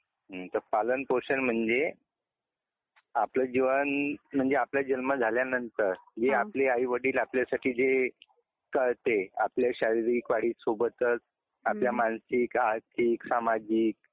हम्म तर पालन पोषण म्हणजे, आपलं जीवन म्हणजे आपला जन्म झाल्यानंतर, अं हे आपले आई वडील आपल्यासाठी जे करते, आपल्या शारीरिक वाढी सोबतच आपल्या मानसिक आर्थिक सामाजिक